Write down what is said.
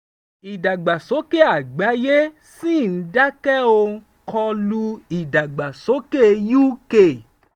ìdàgbàsókè àgbáyé ṣì ń dákẹ́ ó ń kọ lu ìdàgbàsókè uk